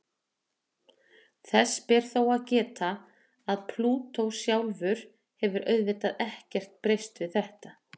Þess ber þó að geta að Plútó sjálfur hefur auðvitað ekkert breyst við þetta.